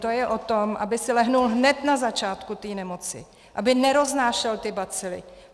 To je o tom, aby si lehl hned na začátku té nemoci, aby neroznášel ty bacily.